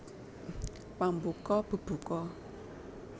Pambuka bebuka